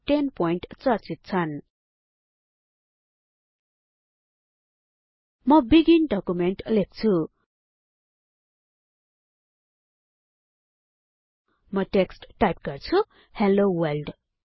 र 10पीटी चर्चित छन् म बिगिन डकुमेन्ट लेख्छु म टेक्स्ट टाइप गर्छु हेल्लो world